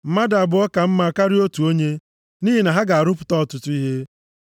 Mmadụ abụọ ka mma karịa otu onye, nʼihi na ha ga-arụpụta ọtụtụ ihe: